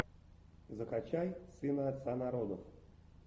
закачай сына отца народов